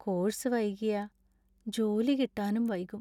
Course വൈകിയാ, ജോലി കിട്ടാനും വൈകും.